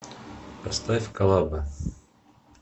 поставь коллаба